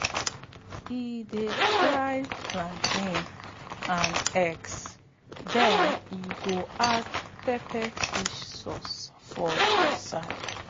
e dey fry plantain and eggs then e go add pepper fish sauce on di side.